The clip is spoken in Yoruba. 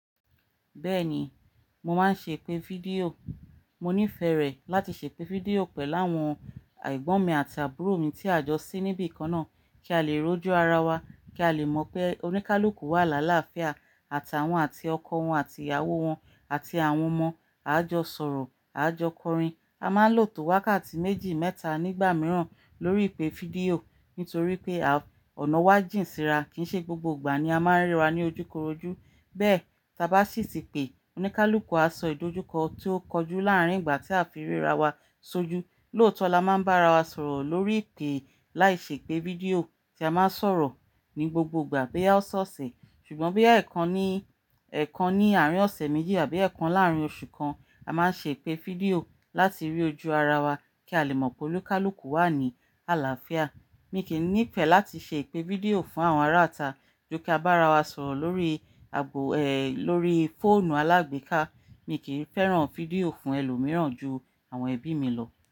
Bẹ́ẹ̀ni, mo máa ń ṣe ìpè fídíò. Mo nífẹ̀ẹ́ rẹ̀ láti ṣe ìpè fídíò pẹ̀ láwọn egbọ́n mi àti àbúrò mi tí a jọ sí níbí kan náà, kí a lè rọ́jú ara wa, kí a lè mọ̀ pé oníkálùúkù wà láàlá àfíà àtàwọn àti ọkọ wọn àti ìyàwó wọn àti àwọn ọmọ. A jọ sọ̀rọ̀, a jọ kọrin. A máa ń lò tó wákàtí méjì, mẹ́ta nígbà mìíràn lórí ìpè fídíò nítorí pé à ọ̀nà wa jìn síra. Kìí ṣe gbogbo ìgbà ni a máa ń ríra ní ojúkorojú. Bẹ́ẹ̀, tí a bá ṣì tí pè, oníkálùúkù á sọ ìdojúkọ tí ó kọjú láàárín ìgbà tí a fi ríra wa sojú. Lóòótọ́ la máa ń bá ara wa sọ̀rọ̀ lórí ìpè láìṣe ìpè fídíò tí a máa ń sọ̀rọ̀ ní gbogbo ìgbà bí ya ó ṣọ́ọ̀ṣe Ṣùgbọ́n bí ya ẹ̀kan ní, ẹ̀kan ní àárín ọ̀sẹ̀ méjì àbí ẹ̀kan láàárín oṣù kan, a máa ń ṣe ìpè fídíò láti rí ojú ara wa kí a lè mọ̀ pé oníkálùúkù wà ní àlàáfíà. Mi kì í nífẹ̀ẹ́ láti ṣe ìpè fídíò fún àwọn ará àta ju kí a bá ara wa sọ̀rọ̀ lórí àbò, lórí fóònù alágbèéká. Mi kì í fẹ́ràn fídíò fún ẹlòmíràn ju àwọn ẹbí mi lọ.